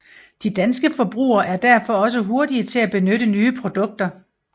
De danske forbrugere er derfor også hurtige til at benytte nye produkter